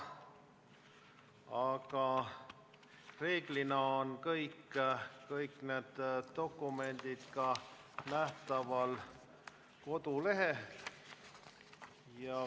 Aga reeglina on kõik need dokumendid nähtaval ka kodulehel.